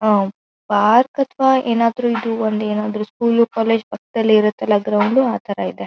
Park ಅಥವಾ ಏನಾದ್ರು ಇದು ಒಂದು ಏನಾದ್ರು ಸ್ಕೂಲ್ ಕಾಲೇಜ್ ಪಕ್ಕದಲ್ಲೇ ಇರುತ್ತಲ್ಲಾ ಗ್ರೌಂಡ್ ಆತರ ಇದೆ.